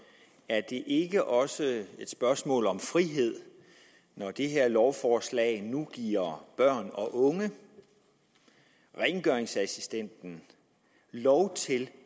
er det ikke også et spørgsmål om frihed når det her lovforslag nu giver børn og unge og rengøringsassistenter lov til